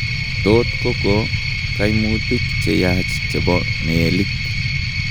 Tot kokoo kaimutik cheyaach chebo meelik